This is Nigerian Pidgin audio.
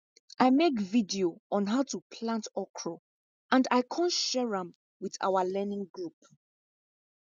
i make video on how to plant okro and i con share am with our learning group